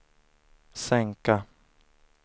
sänka